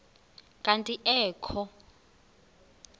kanti ee kho